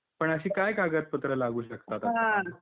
पण अशी काय कागद पत्र लागू शकतात?